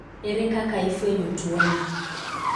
ere kaka ifwenyo tuo ni?